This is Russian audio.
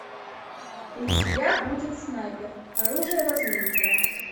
у тебя будет снайпер оружие возмездия